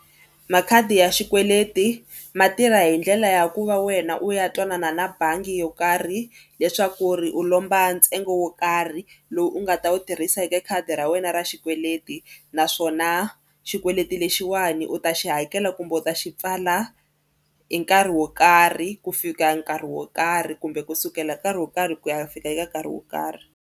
Makhadi ya xikweleti ma tirha hi ndlela ya ku va wena u ya twanana na bangi yo karhi leswaku ri u lomba ntsengo wo karhi lowu u nga ta u tirhisa eka khadi ra wena ra xikweleti naswona xikweleti lexiwani u ta xi hakela kumbe u ta xi pfala i nkarhi wo karhi ku fika nkarhi wo karhi kumbe kusukela hi nkarhi wo karhi ku ya fika eka nkarhi wo karhi.